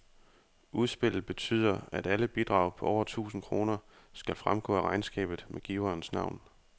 Udspillet betyder, at alle bidrag på over tusind kroner skal fremgå af regnskabet med giverens navn.